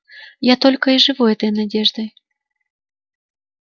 я только и живу этой надеждой